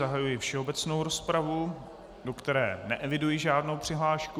Zahajuji všeobecnou rozpravu, do které neeviduji žádnou přihlášku.